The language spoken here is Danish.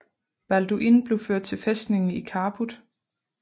Balduin blev ført til fæstningen i Kharput